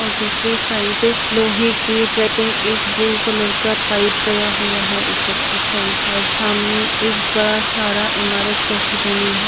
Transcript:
--और दूसरी साइड से लोहे के एक ब्लू कलर का पाइप गया हुआ है ऊपर की साइड और सामने एक बड़ा सारा ईमारत जैसी बनी है।